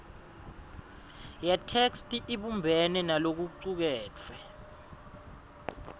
yetheksthi ibumbene nalokucuketfwe